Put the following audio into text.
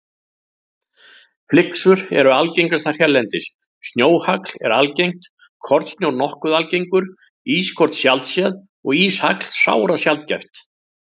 Flyksur eru algengastar hérlendis, snjóhagl er algengt, kornsnjór nokkuð algengur, ískorn sjaldséð og íshagl sárasjaldgæft.